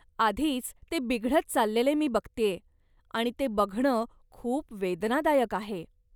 आधीच ते बिघडत चाललेले मी बघतेय आणि ते बघणं खूप वेदनादायक आहे.